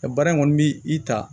Nka baara in kɔni bi i ta